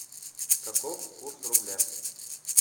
каков курс рубля